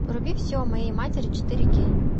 вруби все о моей матери четыре кей